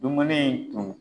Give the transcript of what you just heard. Dumuni tun.